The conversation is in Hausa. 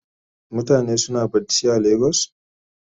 Mutane suna barci a lagos?